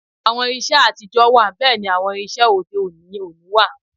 Àwọn irinṣẹ́ àtijọ́ wà bẹ́ẹ̀ ni àwọn irinṣẹ́ òde-òní òní wà